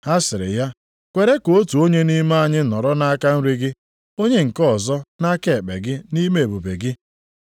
Ha sịrị ya, “Kwere ka otu onye nʼime anyị nọrọ nʼaka nri gị, onye nke ọzọ nʼaka ekpe gị nʼime ebube gị.”